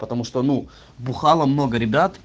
потому что ну бухало много ребят